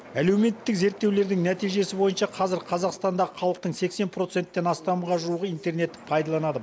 әлеуметтік зерттеулердің нәтижесі бойынша қазір қазақстандағы халықтың сексен проценттен астамға жуығы интернетті пайдаланады